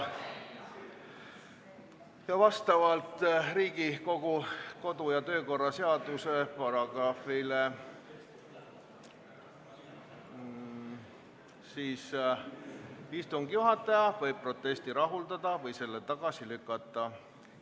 Vastavalt Riigikogu kodu- ja töökorra seaduse paragrahvile istungi juhataja võib protesti rahuldada või selle tagasi lükata.